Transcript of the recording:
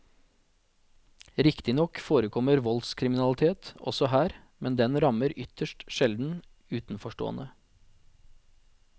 Riktignok forekommer voldskriminalitet også her, men den rammer ytterst sjelden utenforstående.